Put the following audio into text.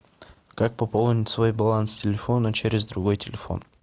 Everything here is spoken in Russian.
как пополнить свой баланс телефона через другой телефон